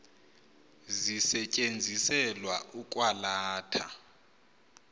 zisetyenziselwa ukwa latha